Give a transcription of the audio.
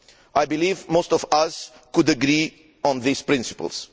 I believe most of us can agree on these principles.